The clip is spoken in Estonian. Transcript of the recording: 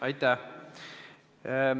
Aitäh!